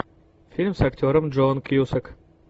фильм с актером джон кьюсак